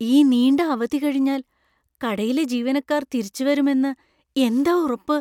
ഈ നീണ്ട അവധി കഴിഞ്ഞാൽ കടയിലെ ജീവനക്കാർ തിരിച്ചുവരും എന്ന് എന്താ ഉറപ്പ്?